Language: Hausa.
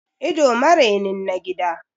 Ido marenin na gida